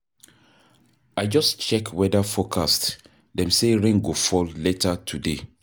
I just check weather forecast, dem say rain go fall later today.